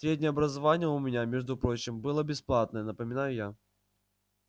среднее образование у меня между прочим было бесплатное напоминаю я